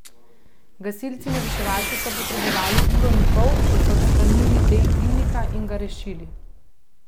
Gasilci in reševalci so potrebovali uro in pol, da so odstranili del dimnika in ga rešili.